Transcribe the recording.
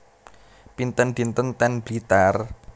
Pinten dinten ten Blitar?